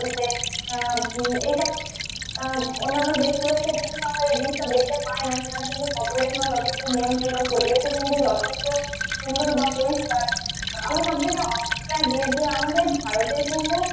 আহ উম এইসব আহ অন্যান্য দেশগুলোতে কিন্তু আমরা এই জিনিসটা দেখতে পাই না সেখানে কিন্তু population ও যথেষ্ট নিয়ন্ত্রিত পরিবেশও কিন্তু যথেষ্ট সুন্দর বা পরিষ্কার আহ আমরা সব যেহেতু আমাদের ভারতের